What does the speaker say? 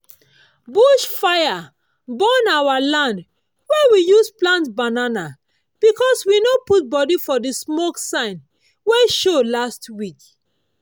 bush fire burn our land wey we use plant banana because we no put body for the smoke sign wey show last week.